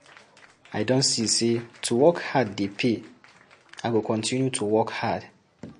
I don see say to work hard dey pay, i go continue to work hard.